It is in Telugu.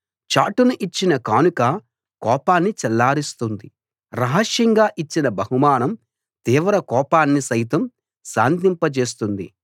చాటున ఇచ్చిన కానుక కోపాన్ని చల్లారుస్తుంది రహస్యంగా ఇచ్చిన బహుమానం తీవ్ర కోపాన్ని సైతం శాంతింప జేస్తుంది